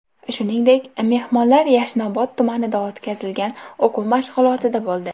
Shuningdek, mehmonlar Yashnobod tumanida o‘tkazilgan o‘quv mashg‘ulotida bo‘ldi.